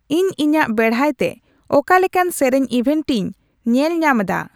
ᱤᱧ ᱤᱧᱟᱜ ᱵᱮᱲᱦᱟᱭᱛᱮ ᱚᱠᱟ ᱞᱮᱠᱟᱱ ᱥᱮᱨᱮᱧ ᱤᱵᱷᱮᱱᱴᱤᱧ ᱧᱮᱞ ᱧᱟᱢᱫᱟ